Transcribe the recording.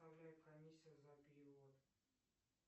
комиссия за перевод